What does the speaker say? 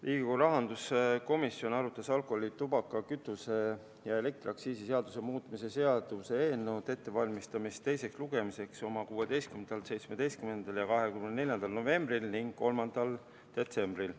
Riigikogu rahanduskomisjon arutas alkoholi-, tubaka-, kütuse- ja elektriaktsiisi seaduse muutmise seaduse eelnõu ettevalmistamist teiseks lugemiseks 16., 17. ja 24. novembril ning 3. detsembril.